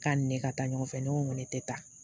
K'a ni ne ka taa ɲɔgɔn fɛ ne ko n ko ne tɛ taa